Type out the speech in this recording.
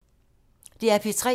DR P3